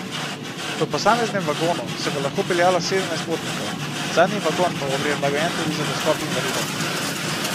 V posameznem vagonu se bo lahko peljalo sedemnajst potnikov, zadnji vagon pa bo prilagojen tudi za dostop invalidov.